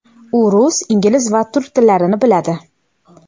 U rus, ingliz va turk tillarini biladi.